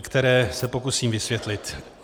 které se pokusím vysvětlit.